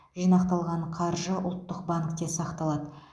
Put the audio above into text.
жинақталған қаржы ұлттық банкте сақталады